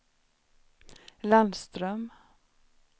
Landström